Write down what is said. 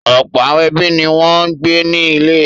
Ọ̀pọ̀ àwọn ẹbí ni wọ́n ń gbé ní ilé.